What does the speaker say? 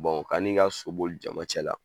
kan'i ka so boli jama cɛ la